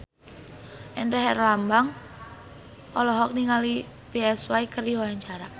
Indra Herlambang olohok ningali Psy keur diwawancara